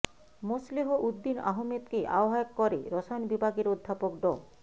মোসলেহ উদ্দিন আহমেদকে আহ্বায়ক করে রসায়ন বিভাগের অধ্যাপক ড